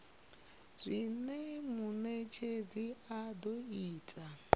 zwine munetshedzi a do ita